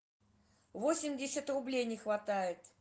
восемьдесят рублей не хватает